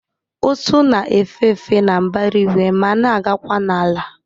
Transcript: Ụsụ na-efe efe na mbara igwe ma na-agakwa n'ala